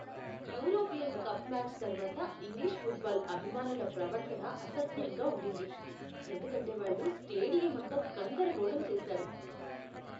European cup match తర్వాత English football అభిమానుల ప్రవర్తన అసహ్యంగా ఉండింది, ఎందుకంటే వాళ్ళు స్టేడియం అంతా గందరగోళం చేశారు.